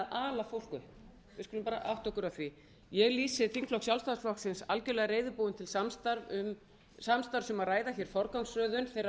ala fólk upp við skulum bara átta okkur á því ég lýsi þingflokk sjálfstæðisflokksins algerlega reiðubúinn til samstarfs um að ræða forgangsröðun þeirra